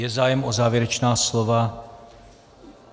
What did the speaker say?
Je zájem o závěrečná slova?